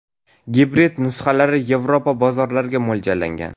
Gibrid nusxalari Yevropa bozorlariga mo‘ljallangan.